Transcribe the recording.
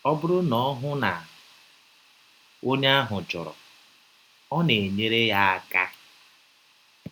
Ọ bụrụ na ọ hụ na ọnye ahụ chọrọ, ọ na - enyere ya aka.